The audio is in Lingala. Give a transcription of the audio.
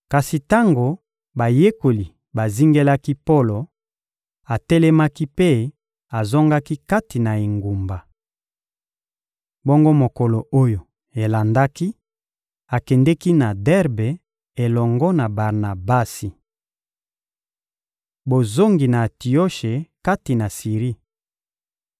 Kasi tango bayekoli bazingelaki Polo, atelemaki mpe azongaki kati na engumba. Bongo mokolo oyo elandaki, akendeki na Derbe elongo na Barnabasi. Bozongi na Antioshe kati na Siri